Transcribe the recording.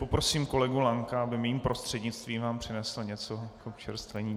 Poprosím kolegu Lanka, aby mým prostřednictvím vám přinesl něco na občerstvení.